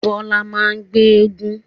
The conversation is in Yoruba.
Bọlá máa ń gbé éégún